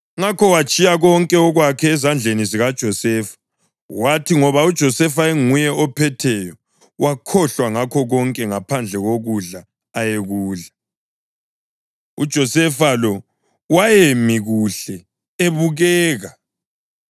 Ngakho watshiya konke okwakhe ezandleni zikaJosefa; kwathi ngoba uJosefa enguye ophetheyo wakhohlwa ngakho konke ngaphandle kokudla ayekudla. UJosefa lo wayemi kuhle, ebukeka,